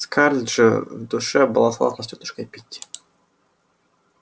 скарлетт же в душе была согласна с тётушкой питти